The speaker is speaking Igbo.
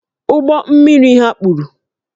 Ụgbọ mmiri ha kpuru